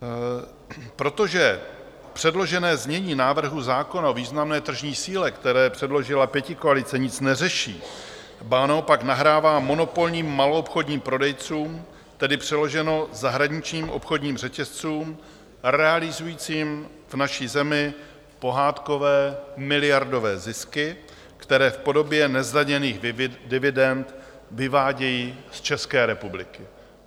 Protože předložené znění návrhu zákona o významné tržní síle, které předložila pětikoalice, nic neřeší, ba naopak nahrává monopolním maloobchodním prodejcům, tedy přeloženo, zahraničním obchodním řetězcům realizujícím v naší zemi pohádkové miliardové zisky, které v podobě nezdaněných dividend vyvádějí z České republiky.